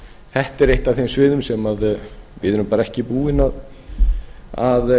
þetta er eitt af þeim sviðum sem við erum bara ekki búin að